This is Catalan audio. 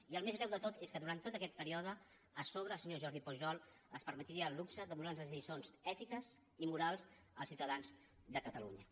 i el més greu de tot és que durant tot aquest període a sobre el senyor jordi pujol es permetia el luxe de donar nos lliçons ètiques i morals als ciutadans de catalunya